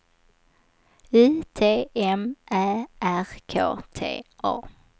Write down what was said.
U T M Ä R K T A